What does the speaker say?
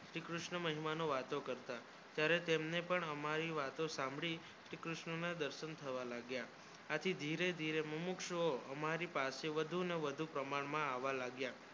શ્રીક્રષ્ણ મહિમા નું વાતો કરતા તમે ત્યાં પણ અમારી વાતો સાંભળીશ્રી કૃષ્ણ નો દાર્શ આવા લાગ્યા અતિ ધીરે ધીરે મુંકશો અમારો પાસે વધુ ના વધુ કામળ માં આવા લાગ્યા